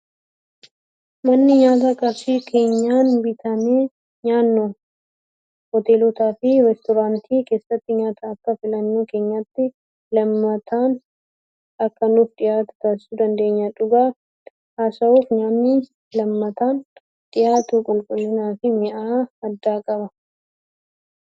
Manneen nyaataa qarshii keenyaan bitannee nyaannu hoteelotaa fi reestoraantii keessatti nyaata akka filannoo keenyaatti leemataan akka nuuf dhiyaatu taasisuu dandeenya. Dhugaa haasawuuf nyaanni leemataan dhiyaatu qulqullinaa fi mi'aa addaa qaba.